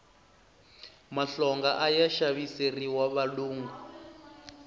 mahlonga aya xaviseriwa valungu